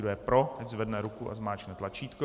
Kdo je pro, ať zvedne ruku a zmáčkne tlačítko.